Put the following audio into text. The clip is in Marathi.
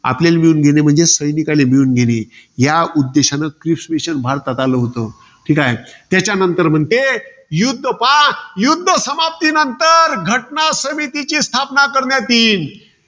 आपल्याले मिळवून घेणे, म्हणजे सैनिकले मिळवून घेणे. या उद्देशानं क्रिस mission भारतात आलं होतं. त्याच्यानंतर म्हणते, युध्द पहा. युध्द समाप्तीनंतर घटनासमितीची स्थापना करण्यात येईल.